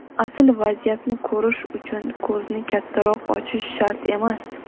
Asl vaziyatni ko‘rish uchun ko‘zni kattaroq ochish shart emas.